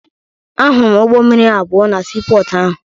Ahụrụ m ụgbọ mmiri abụọ na siipọọtụ ahụ